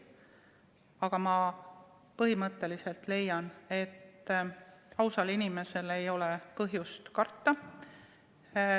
Aga ma põhimõtteliselt leian, et ausal inimesel ei ole põhjust karta.